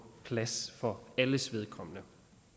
plads for alles vedkommende